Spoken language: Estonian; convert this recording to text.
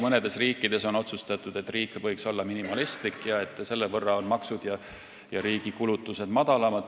Mõnes riigis on otsustatud, et riik võiks olla minimalistlik, selle võrra on siis maksud ja riigi kulutused väiksemad.